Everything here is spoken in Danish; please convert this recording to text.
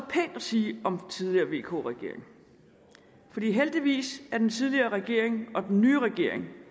sige om den tidligere vk regering for heldigvis er den tidligere regering og den nye regering